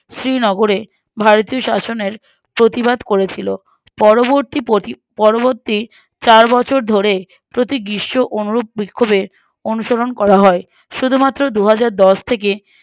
শ্রীনগরে ভারতীয় শাসনের প্রতিবাদ করেছিল পরবর্তী পতি পরবর্তী চার বছর ধরে প্রতি গ্রীষ্ম অনুরূপ বিক্ষোভে অনুসরণ করা হয় শুধুমাত্র দুহাজারদশ থেকে